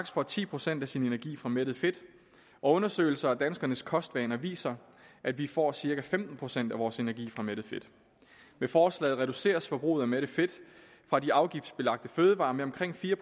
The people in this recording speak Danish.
får ti procent af sin energi fra mættet fedt og undersøgelser af danskernes kostvaner viser at vi får cirka femten procent af vores energi fra mættet fedt med forslaget reduceres forbruget af mættet fedt fra de afgiftsbelagte fødevarer med omkring fire